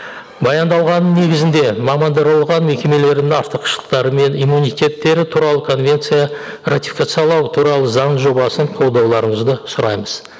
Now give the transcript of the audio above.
баяндалғанның негізінде мекемелерінің артықшылықтары мен иммунитеттері туралы конвенция ратификациялау туралы заң жобасын қолдауларыңызды сұраймыз